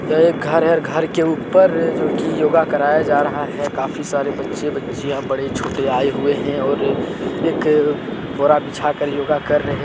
यह एक घर है घर के ऊपर जो कि योगा कराया जा रहा है। काफी सारे बच्चे बच्चियों बड़े छोटे आए हुए हैं और एक बोरा बिछाकर योगा कर रहे--